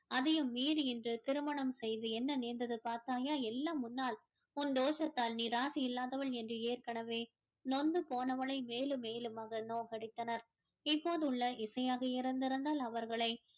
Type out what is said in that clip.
அதையும் மீறி இன்று திருமணம் செய்து என்ன நேர்ந்தது பார்த்தாயா எல்லாம் உன்னால் உன் தோஷத்தால் நீ இராசி இல்லாதவள் என்று ஏற்கனவே நொந்து போனவளை மேலும் மேலுமாக நோகடித்தனர் இப்போது உள்ள இசையாக இருந்திருந்தால் அவர்களை